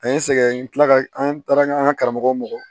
An ye sɛgɛn n kila ka an taara an ka karamɔgɔ mɔgɔ